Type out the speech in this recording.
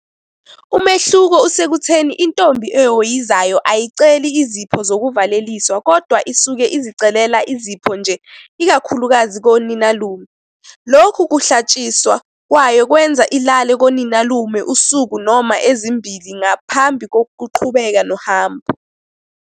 Umehluko usekutheni intombi ehhoyizayo ayiceli izipho zokuvaleliswa kodwa isuke izicelela izipho nje ikakhulukazi koninalume. Lokhu kuhlatshiswa kwayo kwenza ilale koninalume usuku noma ezimbili ngaphambi kokuqhubeka nohambo.